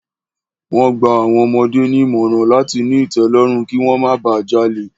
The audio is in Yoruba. Wọ́n gba àwọn ọmọdé nímọ̀ràn láti ní ìtẹ́lọ́rùn, kí wọ́n má ba jalè.